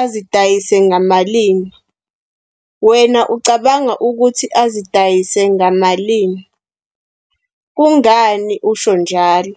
azidayise ngamalini. Wena ucabanga ukuthi azidayise ngamalini? Kungani usho njalo?